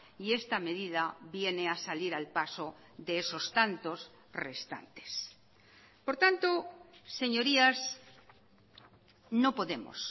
y esta medida viene a salir al paso de esos tantos restantes por tanto señorías no podemos